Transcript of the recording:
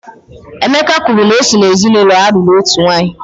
Emeka kwuru na o si n'ezinaụlọ a lụrụ otu nwanyị